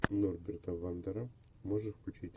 норберта вандера можешь включить